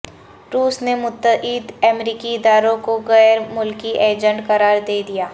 روس نے متعدد امریکی اداروں کو غیر ملکی ایجنٹ قراردے دیا